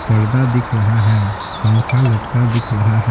पर्दा दिख रहा है पंखा लटका दिख रहा --